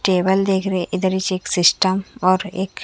table देख रहे इधर एक सिस्टम और एक--